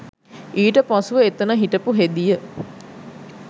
ඊට පසුව එතන හිටපු හෙදිය